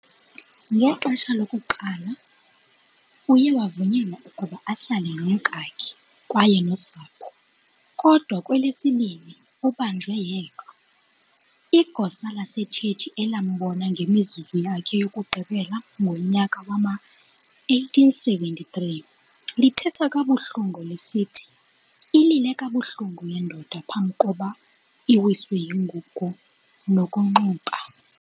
Ngexha lokuqala uyewavunyelwa ukuba ahlale nomkake kwaye nosapho, kodwa kwelesibini ubhanjwe yedwa. Igosa lasetshetshi elambona ngemizuzu yakhe yokugqibela ngonyaka wama-1873 lithetha kabuhlungu lisithi "Ilile kabuhlungu lendoda, phamb'koba iwiswe yingugo nokunxuba".